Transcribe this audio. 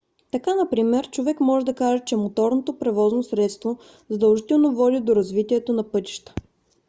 така например човек може да каже че моторното превозно средство задължително води до развитието на пътища